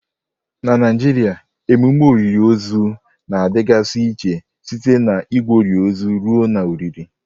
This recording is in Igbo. Na Naijiria emume olili ozu na-adịgasị iche site na Igwori ozu ruo na olili.